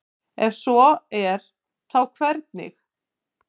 ef svo er þá hvernig